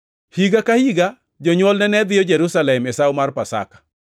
Higa ka higa jonywolne ne dhiyo Jerusalem e Sawo mar Pasaka.